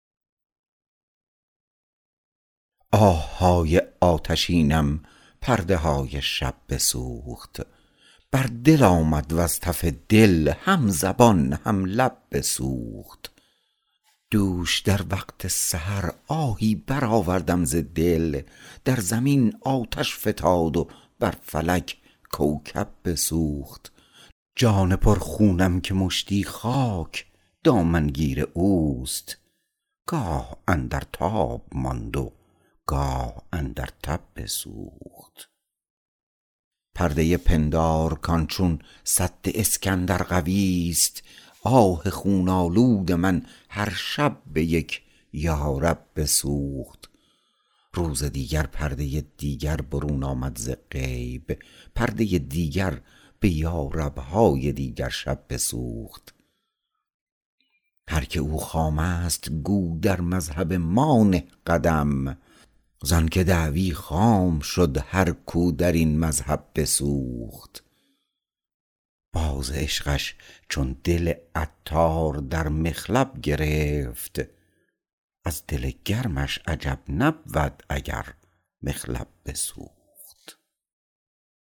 آه های آتشینم پرده های شب بسوخت بر دل آمد وز تف دل هم زبان هم لب بسوخت دوش در وقت سحر آهی برآوردم ز دل در زمین آتش فتاد و بر فلک کوکب بسوخت جان پر خونم که مشتی خاک دامن گیر اوست گاه اندر تاب ماند و گاه اندر تب بسوخت پرده پندار کان چون سد اسکندر قوی است آه خون آلود من هر شب به یک یارب بسوخت روز دیگر پرده دیگر برون آمد ز غیب پرده دیگر به یارب های دیگرشب بسوخت هر که او خام است گو در مذهب ما نه قدم زانکه دعوی خام شد هر کو درین مذهب بسوخت باز عشقش چون دل عطار در مخلب گرفت از دل گرمش عجب نبود اگر مخلب بسوخت